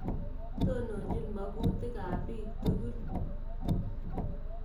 Tononchin makutik ap piik tukul.